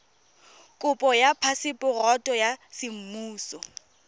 kopo ya phaseporoto ya semmuso